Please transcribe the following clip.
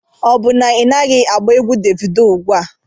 Ọ bụ na ị naghị agba egwu Devido ugbu a?